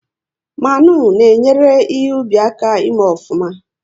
Mmanụ na enyere ihe ubi aka ị mee ofuma